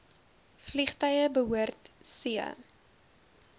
vliegtuie behoort c